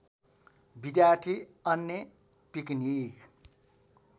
विद्यार्थी अन्य पिकनिक